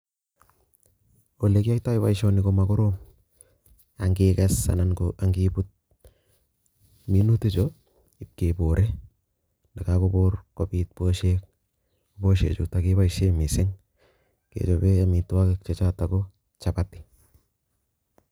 Olekiyoitoi boishoni komokoroom, angikees anan koindibuut minutiik chu, kebore ye kakeboor kobiit busiek, busiekchuton Chu keboishien missing kechoben amitwogiik chechoton ko chapati